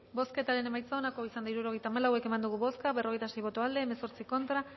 bozketaren emaitza onako izan da hirurogeita hamabost eman dugu bozka berrogeita sei boto aldekoa hemezortzi contra